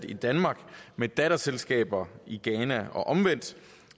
i danmark med datterselskaber i ghana og omvendt